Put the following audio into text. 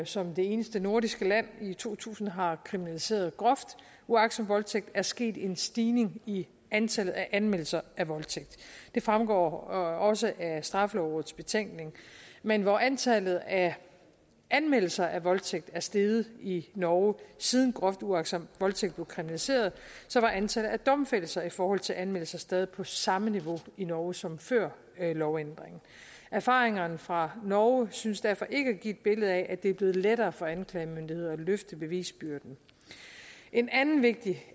som det eneste nordiske land i to tusind har kriminaliseret groft uagtsom voldtægt er sket en stigning i antallet af anmeldelser af voldtægt det fremgår også af straffelovrådets betænkning men hvor antallet af anmeldelser af voldtægt er steget i norge siden groft uagtsom voldtægt blev kriminaliseret var antallet af domfældelser i forhold til anmeldelser stadig på samme niveau i norge som før lovændringen erfaringerne fra norge synes derfor ikke at give et billede af at det er blevet lettere for anklagemyndigheder at løfte bevisbyrden en anden vigtig